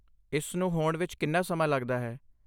ਇਸ ਨੂੰ ਹੋਣ ਵਿੱਚ ਕਿੰਨਾ ਸਮਾਂ ਲੱਗਦਾ ਹੈ?